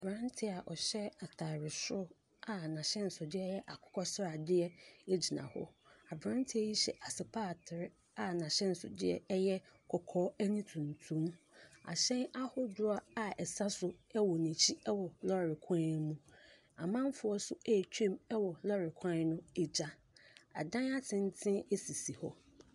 Aberanteɛ a ɔhya atadeɛ soro a n'ahyɛnsodeɛ yɛ akokɔsradeɛ gyina hɔ. Aberanteɛ yi hyɛ asepatere a n'ahyɛnsodeɛ yɛ kɔkɔɔ ne tuntum. Ahyɛn ahodoɔ a ɛsa so wɔ n'akyi wɔ lɔɔre kwan no mu. Amanfoɔ nso retwam wɔ lɔɔre kwan no agya. Adan atenten sisi hɔ.